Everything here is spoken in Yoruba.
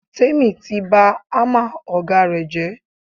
Tèmi ti bá hámà ọ̀gá rẹ̀ jẹ́.